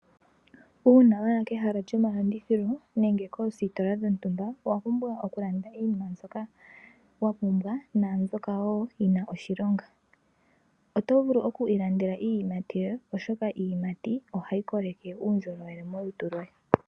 Uuna waya kehala lyomalandithilo nenge koositola dhontumba owa pumbwa okulanda iinima mbyoka wa pumbwa naambyoka wo yina oshilonga. Oto vulu okulandela iiyimati yoye oshoka iiyimati ohayi koleke uundjolowele molutu lwoye.